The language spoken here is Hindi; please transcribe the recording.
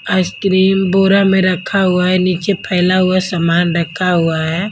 आइसक्रीम बोरा में रखा हुआ है नीचे फैला हुआ सामान रखा हुआ है।